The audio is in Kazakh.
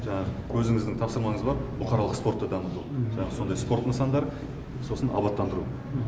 жаңағы өзіңіздің тапсырмаңыз бар бұқаралық спортты дамыту жаңағы сондай спорт нысандары сосын абаттандыру